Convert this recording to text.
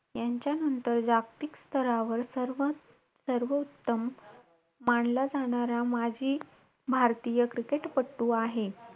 तेव्हा मला तर मज्जा यायची.पण ना आईला राग यायचा.काही पण बोला पण त्या आईच्या मारे एक वेगळीच मज्जा असायची.लागायचं तर नाही पण भोंगा एवढा पसरायचा जस का बापरे किती मार खाल्लाय.